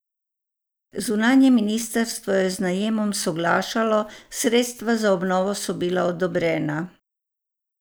Zunanje ministrstvo je z najemom soglašalo, sredstva za obnovo so bila odobrena.